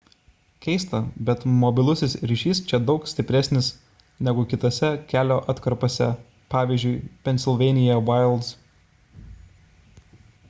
keista bet mobilusis ryšis čia daug stipresnis negu kitose kelio atkarpose pvz. pennsylvania wilds